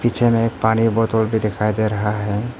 पीछे में एक पानी बोतल भी दिखाई दे रहा है।